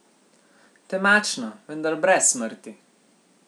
Temačno, vendar brez smrti.